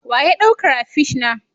Wa ya ɗauk crapish na?